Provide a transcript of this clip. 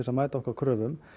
að mæta okkar kröfum